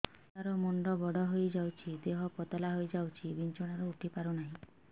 ଛୁଆ ର ମୁଣ୍ଡ ବଡ ହୋଇଯାଉଛି ଦେହ ପତଳା ହୋଇଯାଉଛି ବିଛଣାରୁ ଉଠି ପାରୁନାହିଁ